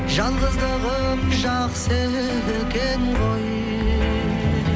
жалғыздығым жақсы екен ғой